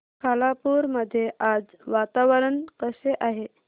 खालापूर मध्ये आज वातावरण कसे आहे